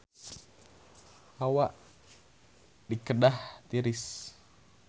Hawa di Kedah tiris